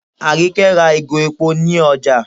Àríkẹ́ ra ìgò epo ní ọjá